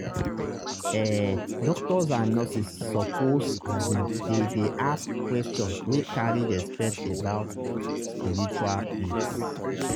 ehh doctors and nurses suppose asin dey dey ask questions wey carry respect about spiritual needs.